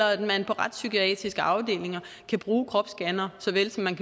og at man på retspsykiatriske afdelinger kan bruge kropsscannere så vel som man